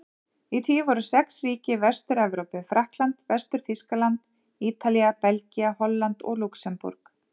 Í því voru sex ríki í Vestur-Evrópu: Frakkland, Vestur-Þýskaland, Ítalía, Belgía, Holland og Lúxemborg.